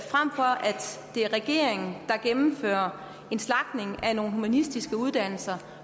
det er regeringen der gennemfører en slagtning af nogle humanistiske uddannelser